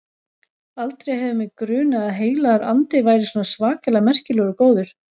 Aldrei hefur mig grunað að Heilagur Andi væri svona svakalega merkilegur og góður.